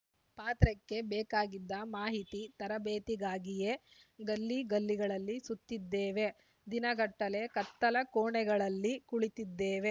ಪಾತ್ರಕ್ಕೆ ಬೇಕಾಗಿದ್ದ ಮಾಹಿತಿ ತರಬೇತಿಗಾಗಿಯೇ ಗಲ್ಲಿ ಗಲ್ಲಿಗಳಲ್ಲಿ ಸುತ್ತಿದ್ದೇವೆ ದಿನ ಗಟ್ಟಲೆ ಕತ್ತಲ ಕೋಣೆಗಳಲ್ಲಿ ಕುಳಿತಿದ್ದೇವೆ